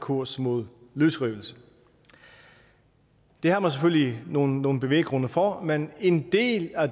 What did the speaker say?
kurs mod løsrivelse det havde man selvfølgelig nogle nogle bevæggrunde for men en del af